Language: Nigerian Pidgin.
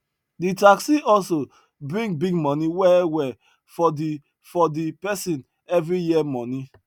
de taxi hustle bring big money well well for the for the pesin every year money